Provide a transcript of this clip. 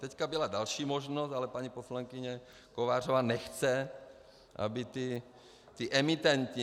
Teď byla další možnost, ale paní poslankyně Kovářová nechce, aby ti emitenti.